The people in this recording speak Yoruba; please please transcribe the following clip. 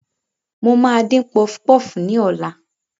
Mo máa dín pọfpọf ní ọ̀la